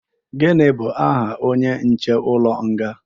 gini bu aha onye nche ulo nga?